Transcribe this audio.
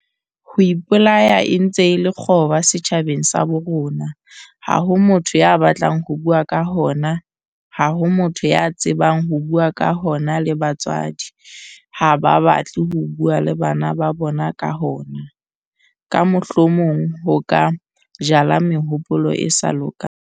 "Ho ipolaya e ntse e le kgoba setjhabeng sa bo rona ha ho motho ya batlang ho bua ka hona, ha ho motho ya tsebang ho bua ka hona le batswadi ha ba batle ho bua le bana ba bona ka hona, ka mohlomong ho ka 'jala mehopolo e sa lokang'."